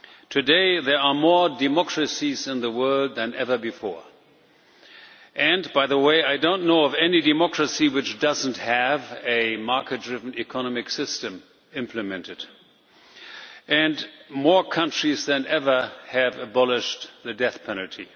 Today there are more democracies in the world than ever before. By the way, I do not know of any democracy which does not have a market driven economic system implemented, and more countries than ever have abolished the death penalty.